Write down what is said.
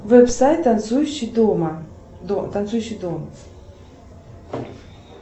веб сайт танцующий дома танцующий дома